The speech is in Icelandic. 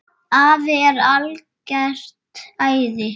Afi er algert æði.